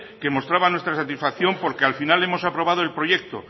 que mostraba nuestra satisfacción porque al final hemos aprobado el proyecto